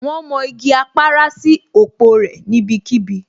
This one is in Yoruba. Wón mọ igi Apara sí òpó rẹ̀ níbí kíbi